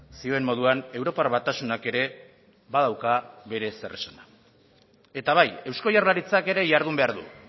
zioen moduan europar batasunak ere badauka bere zeresana eta bai eusko jaurlaritzak ere jardun behar du